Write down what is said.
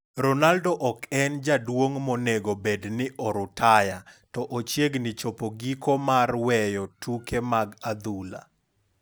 Ronaldo ok en jaduong' monego bed ni orutaya to ochiegni chopo giko mar weyo tuke mag adhula.